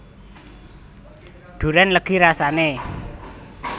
Durén legi rasane